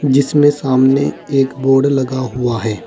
जिसमें सामने एक बोर्ड लगा हुआ है।